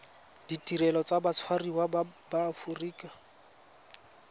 ditirelo tsa batshwariwa ba aforika